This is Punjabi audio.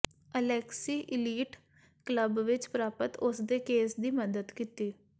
ਅਲੈਕਸੀ ਇਲੀਟ ਕਲੱਬ ਵਿੱਚ ਪ੍ਰਾਪਤ ਉਸਦੇ ਕੇਸ ਦੀ ਮਦਦ ਕੀਤੀ